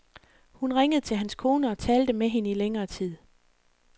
Hun ringede til hans kone og talte med hende i længere tid.